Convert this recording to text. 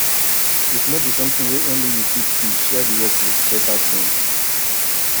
if no be something wey only you fit do share di work with better team